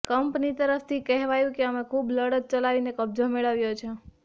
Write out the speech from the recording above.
company તરફથી કહેવાયું કે અમે ખૂબ લડત ચલાવીને કબજો મેળવ્યો છે